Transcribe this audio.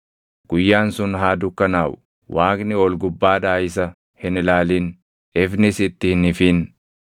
Guyyaan sun haa dukkanaaʼu; Waaqni ol gubbaadhaa isa hin ilaalin; ifnis itti hin ifin.